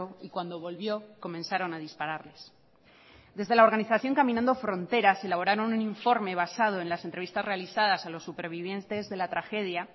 y cuando volvió comenzaron a dispararles desde la organización caminando fronteras elaboraron un informe basado en las entrevistas realizadas a los supervivientes de la tragedia